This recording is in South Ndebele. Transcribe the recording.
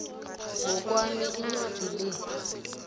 ngokwami incwadi le